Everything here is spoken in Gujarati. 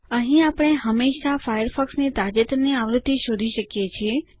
અહીં આપણે હંમેશા ફાયરફોક્સ ની તાજેતરની આવૃત્તિ શોધી શકીએ છીએ